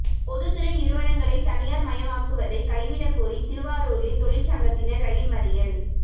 பொதுத்துறை நிறுவனங்களை தனியார் மயமாக்குவதை கைவிட கோரி திருவாரூரில் தொழிற்சங்கத்தினர் ரயில் மறியல்